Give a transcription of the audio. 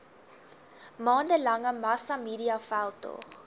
maande lange massamediaveldtog